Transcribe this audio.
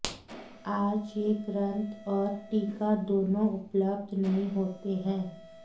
आज यह ग्रंथ और टीका दोनों उपलब्ध नहीं होते हैं